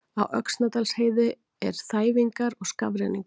Á Öxnadalsheiði er þæfingur og skafrenningur